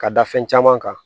Ka da fɛn caman kan